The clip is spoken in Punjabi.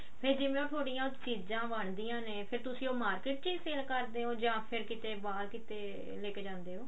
ਫ਼ੇਰ ਜਿਵੇਂ ਉਹ ਥੋਡੀਆਂ ਚੀਜ਼ਾਂ ਬਣਦੀਆਂ ਨੇ ਫ਼ੇਰ ਤੁਸੀਂ ਉਹ market ਚ sale ਕਰਦੇ ਹੋ ਜਾਂ ਫ਼ੇਰ ਕਿਤੇ ਬਾਹਰ ਕਿਤੇ ਲੈਕੇ ਜਾਂਦੇ ਹੋ